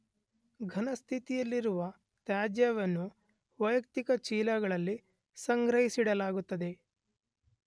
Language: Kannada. ಘನಸ್ಥಿತಿಯಲ್ಲಿರುವ ತ್ಯಾಜ್ಯವನ್ನು ವೈಯಕ್ತಿಕ ಚೀಲದಲ್ಲಿ ಸಂಗ್ರಹಿಸಿಡಲಾಗುತ್ತದೆ.